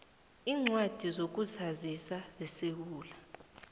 iincwadi zokuzazisa zesewula